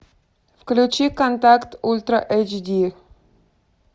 включи контакт ультра эйч ди